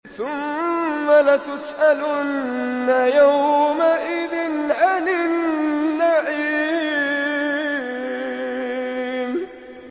ثُمَّ لَتُسْأَلُنَّ يَوْمَئِذٍ عَنِ النَّعِيمِ